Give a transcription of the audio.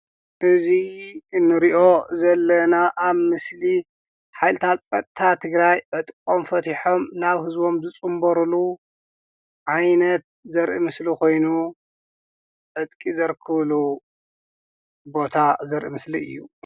እዙይ እንርእዮ ዘለና ኣብ ምስሊ ሓይልታት ፀጥታ ትግራይ ዕጥቆም ፈትይሖም ናብ ህዝቦም ዝፅንበርሉ ዓይነት ዘርኢ ምስሊ ኮይኑ። ዕጥቂ ዘርክቡሉ ቦታ ዘርኢ ምስሊ እዩ።